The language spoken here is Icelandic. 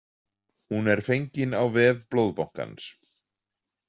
Hún er fengin á vef blóðbankans